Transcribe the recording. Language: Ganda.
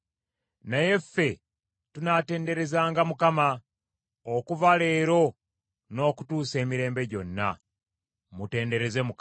Naye ffe tunaatenderezanga Mukama , okuva leero n’okutuusa emirembe gyonna. Mutendereze Mukama !